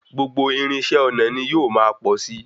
Gbogbo irinṣẹ́ ọnà ní yóò máa pọ̀ sí.